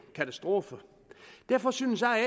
katastrofe derfor synes jeg